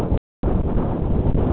Helga: Hver var hápunkturinn?